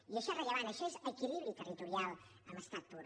i això és rellevant això és equilibri territorial en estat pur